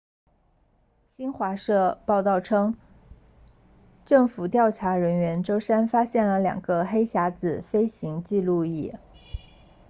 新华社报道称政府调查人员周三发现了两个黑匣子飞行记录仪